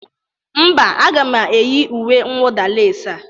Mba, aga m eyi uwe nwụda lesi a.